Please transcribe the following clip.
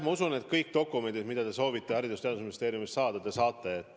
Ma usun, et kõik dokumendid, mida te soovite Haridus- ja Teadusministeeriumist saada, te ka saate.